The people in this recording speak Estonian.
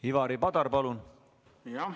Ivari Padar, palun!